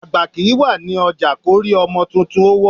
Àgbà kìí wà ní ọjà kórí ọmọ tuntun ó wọ́